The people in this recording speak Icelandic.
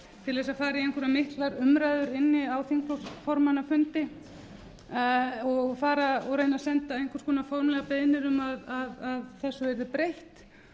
til að fara í einhverjar miklar umræður inni á þingflokksformannafundi og reyna að senda einhvers konar formlegar beiðnir um að þessu yrði breytt